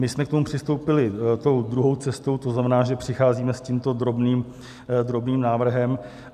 My jsme k tomu přistoupili tou druhou cestou, to znamená, že přicházíme s tímto drobným návrhem.